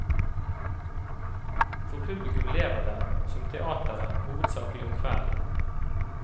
For publikum lever den, som teatret, hovedsakelig om kvelden.